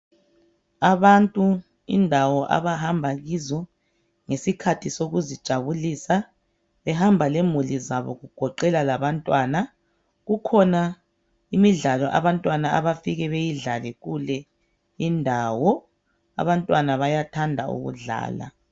Abantu indawo abahamba kizo ngesikhathi sokuzijabulisa behamba lemuli zabo kugoqela labantwana kukhona imidlalo abantwana abafike beyidlale kule indawo. Abantwana bayathanda ukudlala.